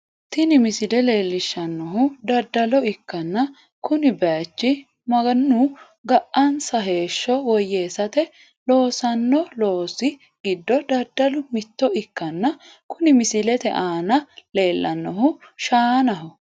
Tini misile leellishshannohu daddalo ikkanna, kini bayicho mannu ga"ansa heeshsho woyyeessate loosanno loosi giddo daddalu mitto ikkanna, kuni misilete aana leellannohu shaanaho.